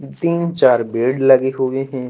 तीन चार बेड लगे हुए हैं।